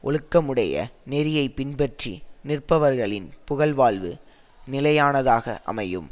ஒழுக்கமுடைய நெறியை பின்பற்றி நிற்பவர்களின் புகழ்வாழ்வு நிலையானதாக அமையும்